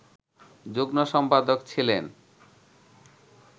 যুগ্ম-সম্পাদক ছিলেন